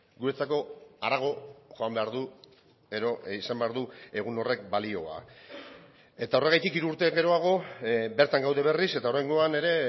guretzako harago joan behar du edo izan behar du egun horrek balioa eta horregatik hiru urte geroago bertan gaude berriz eta oraingoan ere